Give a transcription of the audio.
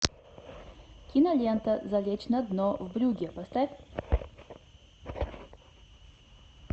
кинолента залечь на дно в брюгге поставь